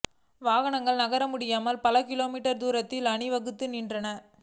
வாகனங்கள் நகர முடியாமல் பல கிலோமீட்டர் தூரத்துக்கு அணிவகுத்து நின்றன